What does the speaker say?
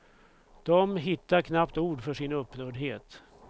De hittar knappt ord för sin upprördhet.